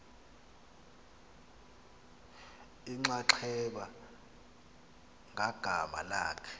inxaxheba ngagama lakhe